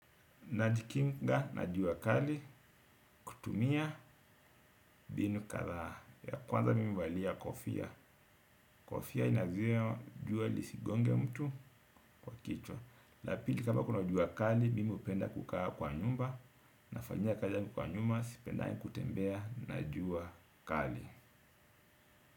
Najikinga na jua kali kutumia mbinu kathaa. Ya kwanza mimi huvalia kofia. Kofia inazua jua lisigonge mtu kwa kichwa. Lapili kama kuna jua kali mimi upenda kukaa kwa nyumba. Na fanyia kazi yaai kwa nyuma sipendangi kutembea na jua kali.